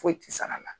Foyi tɛ sara la